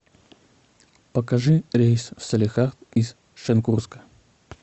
покажи рейс в салехард из шенкурска